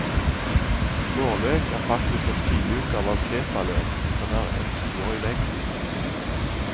Vårløk er faktisk en tidligutgave av kepaløk, som er en toårig vekst.